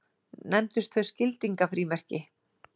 Nefndust þau skildingafrímerki.